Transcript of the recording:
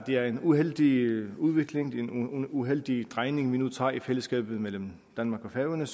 det er en uheldig udvikling en uheldig drejning vi nu tager i fællesskabet mellem danmark og færøerne